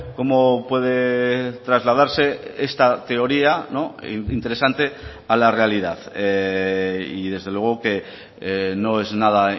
cómo puede trasladarse esta teoría interesante a la realidad y desde luego que no es nada